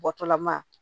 Bɔtɔla ma